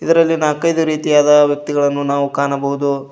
ಇದರಲ್ಲಿ ನಾಕ್ಐದು ರೀತಿಯಾದ ವ್ಯಕ್ತಿಗಳನ್ನು ನಾವು ಕಾಣಬಹುದು.